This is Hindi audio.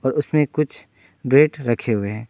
उसमें कुछ ब्रेड रखें हुए हैं।